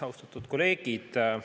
Austatud kolleegid!